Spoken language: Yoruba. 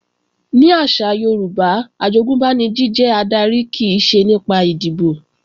Ní àṣà Yorùbá, àjogúnbá ni jíjẹ adarí kìí ṣe nípa ìdìbò